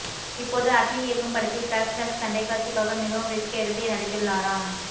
இப்போது அட்லீ இயக்கும் படத்தில் ஃபிளாஸ் பேக் சண்டைக்காட்சிக்காக மிகவும் ரிஸ்க் எடுத்து நடித்துள்ளாராம்